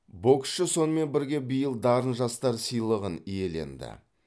боксшы сонымен бірге биыл дарын жастар сыйлығын иеленді